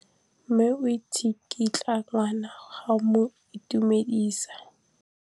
Mme o tsikitla ngwana go mo itumedisa.